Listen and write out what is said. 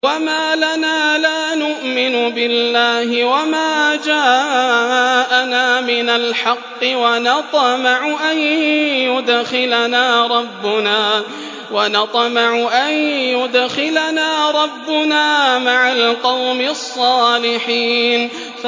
وَمَا لَنَا لَا نُؤْمِنُ بِاللَّهِ وَمَا جَاءَنَا مِنَ الْحَقِّ وَنَطْمَعُ أَن يُدْخِلَنَا رَبُّنَا مَعَ الْقَوْمِ الصَّالِحِينَ